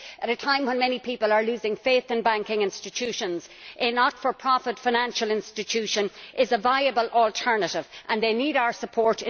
At a time when many people are losing faith in banking institutions, not for profit financial institutions are a viable alternative and they need our support.